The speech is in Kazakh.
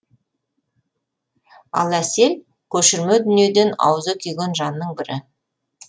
ал әсел көшірме дүниеден аузы күйген жанның бірі